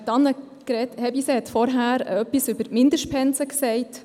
Annegret Hebeisen hat sich vorhin zu den Mindestpensen geäussert.